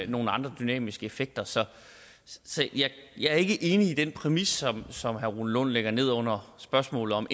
nogle andre dynamiske effekter så jeg er ikke enig i den præmis som herre rune lund ligger ned under spørgsmålet om